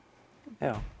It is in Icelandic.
já